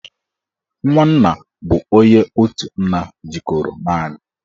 Nwanna bụ onye otu nna jikọrọ naanị